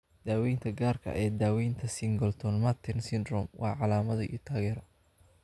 Daaweynta gaarka ah ee daaweynta Singleton Merten syndrome waa calaamado iyo taageero.